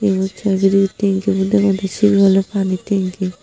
ebot sa biri bitte guri degode sigun oly pani tanki.